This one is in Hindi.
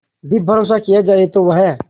भी भरोसा किया जाए तो वह